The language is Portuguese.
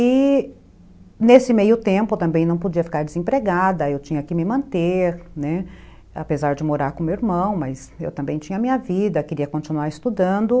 E, nesse meio tempo, também não podia ficar desempregada, eu tinha que me manter, né, apesar de morar com meu irmão, mas eu também tinha minha vida, queria continuar estudando.